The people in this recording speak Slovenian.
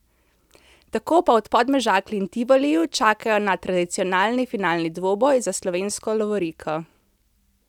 Tako pa v Podmežakli in Tivoliju čakajo na tradicionalni finalni dvoboj za slovensko lovoriko.